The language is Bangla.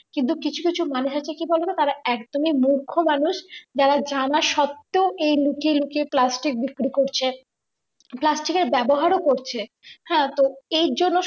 কিন্তু কিছু কিছু মানুষ আছে কি বলতো তারা একদমই মূর্খ মানুষ যারা জানার সত্বেও এই লুকিয়ে লুকিয়ে প্লাস্টিক বিক্রি করছে প্লাস্টিক এর ব্যবহার ও করছে, হ্যাঁ তো এই জন্য